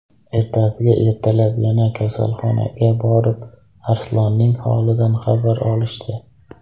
Ertasiga ertalab yana kasalxonaga borib, Arslonning holidan xabar olishdi.